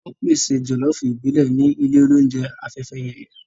Wọ́n ń pèsè jọ̀lọ́ọ̀fù ìbílẹ̀ ní ilé oúnjẹ Afẹ́fẹ́yẹyẹ